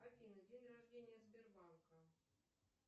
афина день рождения сбербанка